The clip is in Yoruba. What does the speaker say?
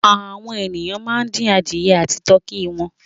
Àwọn ènìyàn máa ń dín adìẹ àti tọkí wọn.